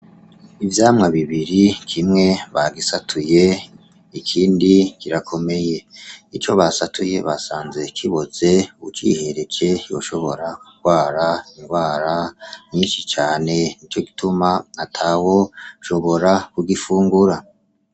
Ivyamwa bibiri kimwe bagisatuye ikindi kirakomeye. Ico basatuye basanze kiboze, ucihereje woshobora kugwara indwara nyinshi cane, nico gituma atawoshobora kugifungura.